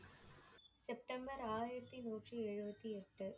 September ஆயிரத்தி நூற்றி எழுவத்தி எட்டு